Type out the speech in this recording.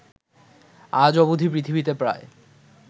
আজ অবধি পৃথিবীতে প্রায়